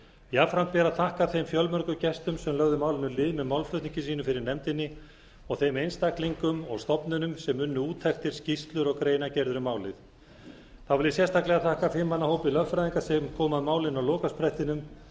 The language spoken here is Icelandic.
jafnframt ber að þakka þeim fjölmörgu gestum sem lögðu málinu lið með málflutningi sínum fyrir nefndinni og þeim einstaklingum og stofnunum sem unnu úttektir skýrslur og greinargerðir um málið þá vil ég sérstaklega þakka fimm manna hópi lögfræðinga sem kom að málinu á lokasprettinum